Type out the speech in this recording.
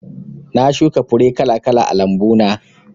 Na shuka fure kala kala a lambu na